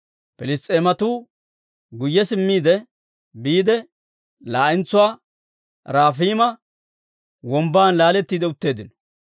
Piliss's'eematuu guyye simmiide biide, laa'entsuwaa Rafayma Wombban laaletti utteeddino.